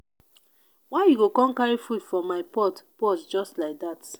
why you go come carry food from my pot pot just like dat